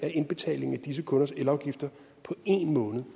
af indbetalingen af disse kunders elafgifter på en måned